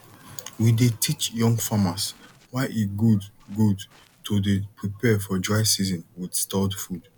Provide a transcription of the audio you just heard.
we dey teach young farmers why e good good to dey prepare for dry season with stored food